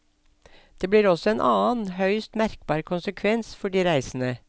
Det blir også en annen, høyst merkbar konsekvens for de reisende.